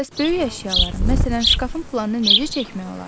Bəs böyük əşyaların, məsələn şkafın planını necə çəkmək olar?